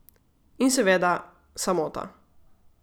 In seveda, samota.